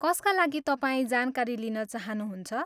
कसका लागि तपाईँ जानकारी लिन चाहनुहुन्छ?